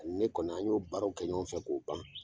A ni ne kɔni , an y'o baarow kɛ ɲɔgɔn fɛ k'o ban.